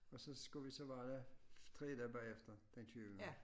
Og så skulle vi så være der 3 dage bagefter den tyvende